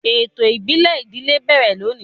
Ètò ìbílẹ̀ ìdílé ń bẹ̀rẹ̀ lónìí.